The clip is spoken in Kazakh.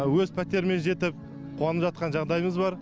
өз пәтеріме жетіп қуанып жатқан жағдайымыз бар